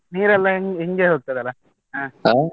ನೀರೆಲ್ಲಾ ಇಂ~ ಇಂಗಿ ಹೋಗ್ತದಲ್ಲ ಆಹ್.